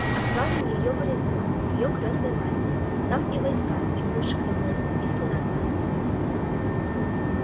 отправим её в оренбург к её крестной матери там и войска и пушек довольно и стена каменная